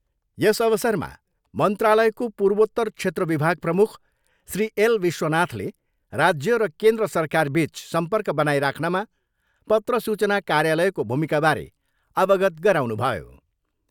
यस अवसरमा मन्त्रालयको पूर्वोत्तर क्षेत्र विभाग प्रमुख श्री एल विश्वनाथले राज्य र केन्द्र सरकारबिच सम्पर्क बनाइराख्नमा पत्र सूचना कार्यालयको भूमिकाबारे अवगत गराउनुभयो।